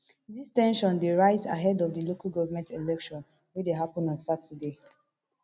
dis ten sion dey rise ahead of di local government election we dey happun on saturday